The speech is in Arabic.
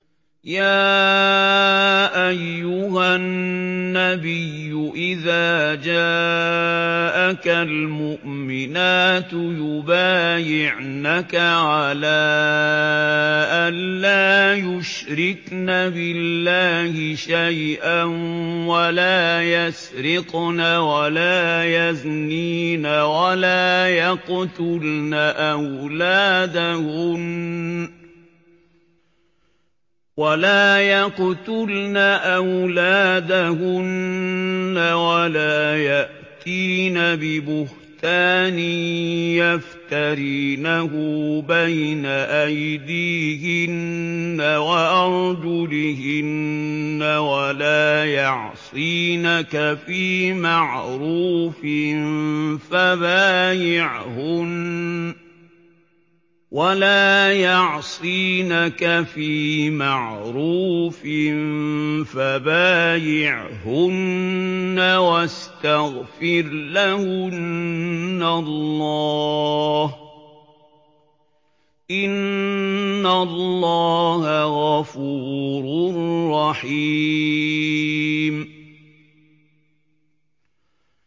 يَا أَيُّهَا النَّبِيُّ إِذَا جَاءَكَ الْمُؤْمِنَاتُ يُبَايِعْنَكَ عَلَىٰ أَن لَّا يُشْرِكْنَ بِاللَّهِ شَيْئًا وَلَا يَسْرِقْنَ وَلَا يَزْنِينَ وَلَا يَقْتُلْنَ أَوْلَادَهُنَّ وَلَا يَأْتِينَ بِبُهْتَانٍ يَفْتَرِينَهُ بَيْنَ أَيْدِيهِنَّ وَأَرْجُلِهِنَّ وَلَا يَعْصِينَكَ فِي مَعْرُوفٍ ۙ فَبَايِعْهُنَّ وَاسْتَغْفِرْ لَهُنَّ اللَّهَ ۖ إِنَّ اللَّهَ غَفُورٌ رَّحِيمٌ